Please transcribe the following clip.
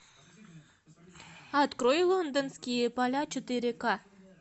открой лондонские поля четыре к